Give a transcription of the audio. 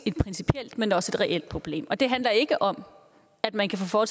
principielt men også reelt problem og det handler ikke om at man kan få